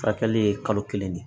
Furakɛli ye kalo kelen de